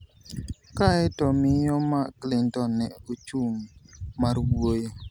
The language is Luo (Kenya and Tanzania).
Kaeto to Miyo ma Clinton ne ochung mar wuoyo.